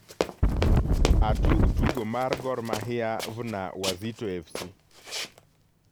atug tugo mar gor mahia vna wazito f.c.